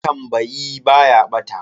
Matambayi ba ya bata.